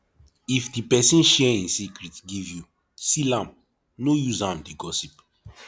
if di persin share in secret give you seal am no use am de gossip